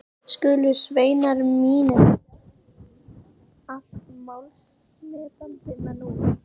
Skulu sveinar mínir, allt málsmetandi menn úr